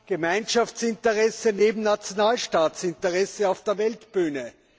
Gemeinschaftsinteressen stehen neben Nationalstaatsinteressen auf der Weltbühne.